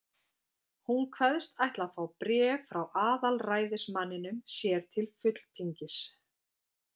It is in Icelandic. Hún kveðst ætla að fá bréf frá aðalræðismanninum sér til fulltingis.